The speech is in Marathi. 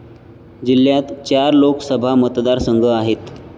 जिल्ह्यात चार लोकसभा मतदारसंघ आहेत.